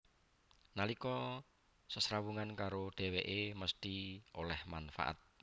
Nalika sesrawungan karo dhèwèké mesthi oleh manfaat